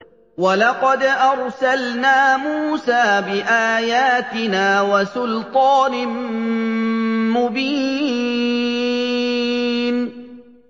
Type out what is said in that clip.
وَلَقَدْ أَرْسَلْنَا مُوسَىٰ بِآيَاتِنَا وَسُلْطَانٍ مُّبِينٍ